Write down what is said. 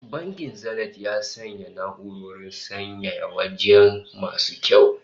Bankin Zenith ya sanya na'urorin sanyaya waje masu kyau